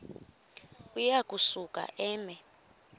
uya kusuka eme